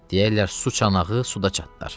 Deyərlər su çanağı suda çatlar.